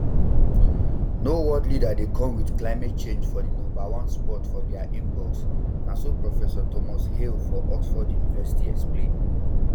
no world leader dey come with climate change for di number one spot for dia inbox na so prof thomas hale for oxford university explain